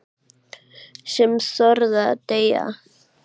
Sem þorði að deyja!